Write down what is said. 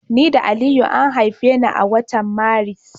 Ni da Aliyu an haife ni a watan Maris.